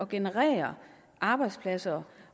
generere arbejdspladser